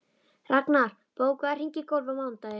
Raknar, bókaðu hring í golf á mánudaginn.